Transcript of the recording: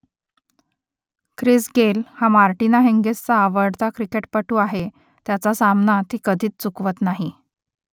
Chris Gayle हा Martina हिंगीसचा आवडता क्रिकेटपटू आहे त्याचा सामना ती कधीच चुकवत नाही